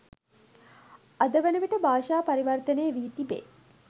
අද වනවිට භාෂා පරිවර්තනය වී තිබේ.